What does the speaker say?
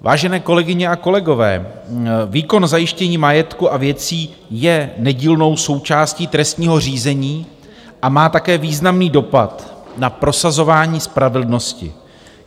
Vážené kolegyně a kolegové, výkon zajištění majetku a věcí je nedílnou součástí trestního řízení a má také významný dopad na prosazování spravedlnosti.